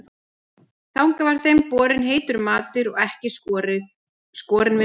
Þangað var þeim borinn heitur matur og ekki skorinn við nögl.